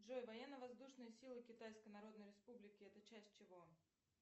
джой военно воздушные силы китайской народной республики это часть чего